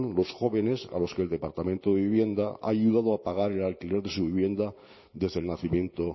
los jóvenes a los que el departamento de vivienda ha ayudado a pagar el alquiler de su vivienda desde el nacimiento